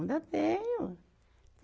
Ainda tenho.